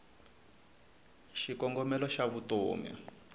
xikongomelo xavutomi